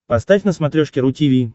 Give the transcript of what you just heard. поставь на смотрешке ру ти ви